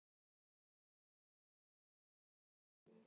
SAGT UM LIV